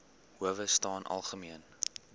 howe staan algemeen